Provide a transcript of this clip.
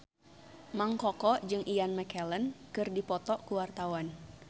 Mang Koko jeung Ian McKellen keur dipoto ku wartawan